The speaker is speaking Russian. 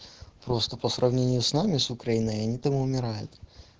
просто по сравнению с нами с украиной они там умирают